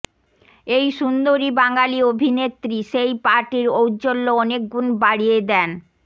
এই সুন্দরী বাঙালি অভিনেত্রী সেই পার্টির ঔজ্জ্বল্য অনেকগুণ বাড়িয়ে দেন